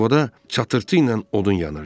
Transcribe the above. Sobada çatırtı ilə odun yanırdı.